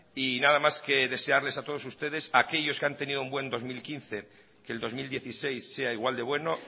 y nada más que desearles a todos ustedes a aquellos que han tenido un buen dos mil quince que el dos mil dieciséis sea igual de bueno